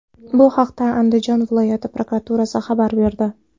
Bu haqda Andijon viloyati prokuraturasi xabar berdi .